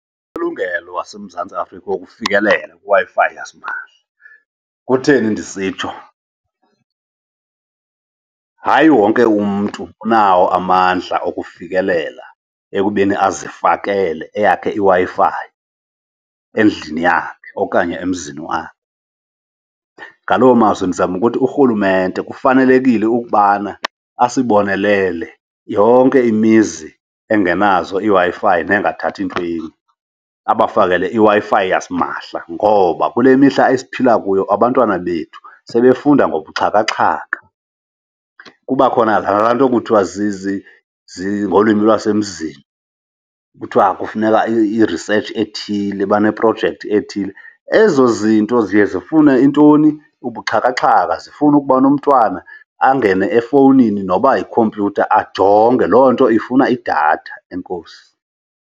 Ilungelo waseMzantsi Afrika wokufikelela kwiWi-Fi yasimahla. Kutheni ndisitsho? Hayi wonke umntu unawo amandla okufikelela ekubeni azifakele eyakhe iWi-Fi endlini yakhe okanye emzini wakhe. Ngaloo mazwi ndizama ukuthi urhulumente kufanelekile ukubana asibonelele yonke imizi engenazo iWi-Fi nengathathi entweni, abafakele iWi-Fi yasimahla. Ngoba kule mihla esiphila kuyo abantwana bethu sebefunda ngobuxhakaxhaka, kuba khona laa nto kuthiwa ngolwimi lwasemzini kuthiwa kufuneka i-research ethile, baneprojekthi ethile. Ezo zinto ziye zifune intoni? Ubuxhakaxhaka, zifune ukubana umntwana angene efowunini noba yikhompyutha ajonge. Loo nto ifuna idatha. Enkosi.